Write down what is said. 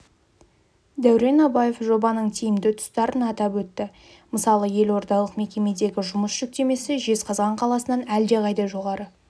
дәурен абаев жобаның тиімді тұстарын атап өтті мысалы елордалық мекемедегі жұмыс жүктемесі жезқазған қаласынан әлдеқайда жоғары